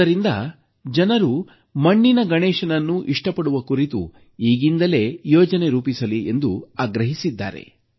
ಅದರಿಂದ ಜನರು ಮಣ್ಣಿನ ಗಣೇಶನನ್ನು ಇಷ್ಟಪಡುವ ಕುರಿತು ಈಗಿಂದಲೇ ಯೋಜನೆ ರೂಪಿಸಲಿ ಎಂದು ಆಗ್ರಹಿಸಿದ್ದಾರೆ